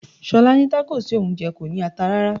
Ṣolá ní Tacos tí òun jẹ kò ní ata rárá.